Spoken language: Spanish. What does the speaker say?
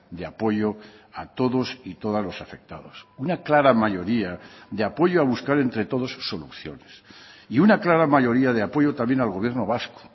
de apoyo a todos y todas los afectados una clara mayoría de apoyo a buscar entre todos soluciones y una clara mayoría de apoyo también al gobierno vasco